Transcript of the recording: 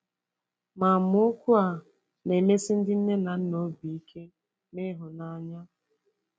Ma amaokwu a na-emesi ndị nne na nna obi ike na ịhụnanya.